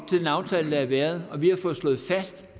til den aftale der har været og vi har fået slået fast